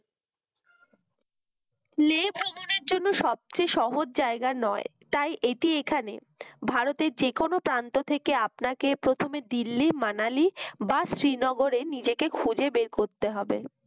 লে করার জন্য সবচেয়ে সহজ জায়গা নয় তাই এটি এখানে ভারতের যেকোনো প্রান্ত থেকে আপনাকে প্রথমে দিল্লি মানালি বা শ্রীনগর এ নিজেকে খুঁজে বের করতে হবে